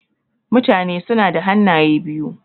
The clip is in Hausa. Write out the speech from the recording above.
Mutane suna da hannaye biyu.